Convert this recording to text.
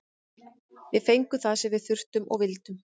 Við fengum það sem við þurftum og vildum.